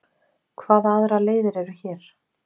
Hvaða aðrar leiðir eru hér?